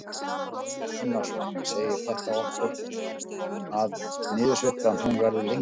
Kristján Már Unnarsson: Segir þetta okkur að, að niðursveiflan hún verður lengri?